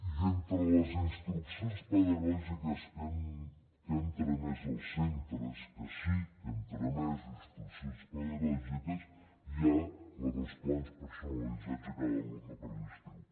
i entre les instruccions pedagògiques que hem tramès als centres que sí que hem tramès instruccions pedagògiques hi ha la dels plans personalitzats de cada alumne per a l’estiu